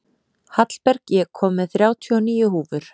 Hallberg, ég kom með þrjátíu og níu húfur!